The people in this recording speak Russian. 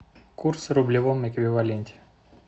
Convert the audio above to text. курс в рублевом эквиваленте